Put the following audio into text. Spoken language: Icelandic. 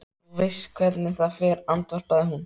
Þú veist hvernig það fer, andvarpaði hún.